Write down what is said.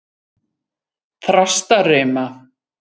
Þrastarima